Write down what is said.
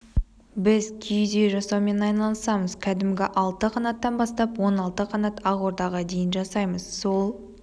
біз киіз үй жасаумен айналысамыз кәдімгі алты қанаттан бастап он алты қанат ақордаға дейін жасаймыз сол